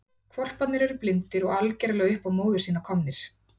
Hvolparnir eru blindir og algerlega upp á móður sína komnir.